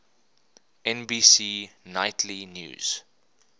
nbc nightly news